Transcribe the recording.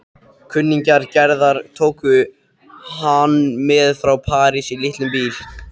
Kunningjar Gerðar tóku hann með frá París í litlum bíl.